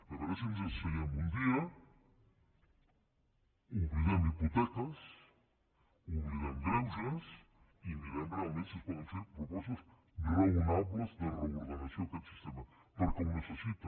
a veure si ens asseiem un dia oblidem hipoteques oblidem greuges i mirem realment si es poden fer propostes raonables de reordenació d’aquest sistema perquè ho necessita